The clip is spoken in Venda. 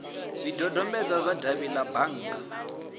zwidodombedzwa zwa davhi la bannga